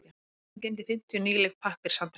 Bókasafnið geymdi fimmtíu nýleg pappírshandrit.